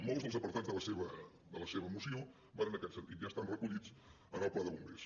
molts dels apartats de la seva moció van en aquest sentit ja estan recollits en el pla de bombers